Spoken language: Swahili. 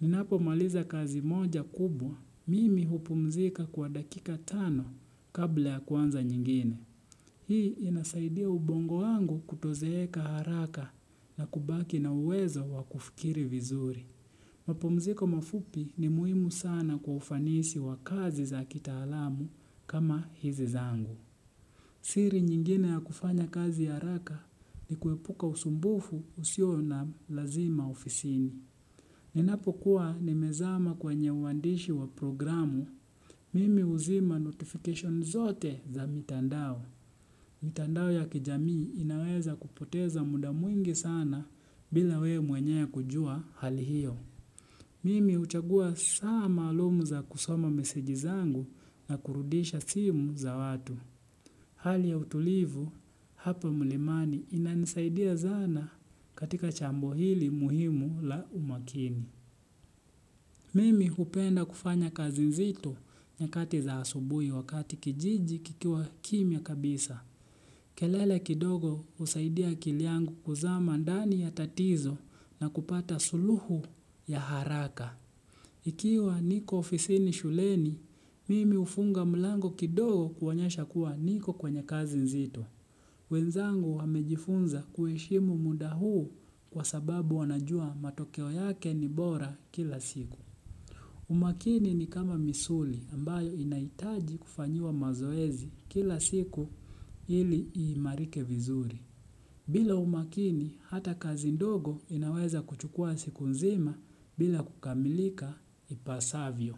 Ninapo maliza kazi moja kubwa, mimi hupumzika kwa dakika tano kabla ya kwanza nyengine. Hii inasaidia ubongo wangu kutozeeka haraka na kubaki na uwezo wa kufikiri vizuri. Mapumziko mafupi ni muhimu sana kwa ufanisi wa kazi za kitaalamu kama hizi zangu. Siri nyengine ya kufanya kazi haraka ni kuepuka usumbufu usio na lazima ofisini. Ninapo kuwa nimezama kwenye uwandishi wa programu, mimi uzima notification zote za mitandao. Mitandao ya kijamii inaweza kupoteza muda mwingi sana bila we mwenye kujua hali hio. Mimi uchagua saa malumu za kusoma meseji zangu na kurudisha simu za watu. Hali ya utulivu, hapa mlimani inanisaidia sana katika jambo hili muhimu la umakini. Mimi upenda kufanya kazi nzito nyakati za asubui wakati kijiji kikiwa kimya kabisa. Kelele kidogo usaidia akili angu kuzama ndani ya tatizo na kupata suluhu ya haraka. Ikiwa niko ofisini shuleni, mimi ufunga mlango kidogo kuonyesha kuwa niko kwenye kazi nzito. Wenzangu wamejifunza kuheshimu muda huu kwa sababu wanajua matokeo yake ni bora kila siku. Umakini ni kama misuli ambayo inaitaji kufanyiwa mazoezi kila siku ili imarike vizuri. Bila umakini hata kazi ndogo inaweza kuchukua siku nzima bila kukamilika ipasavyo.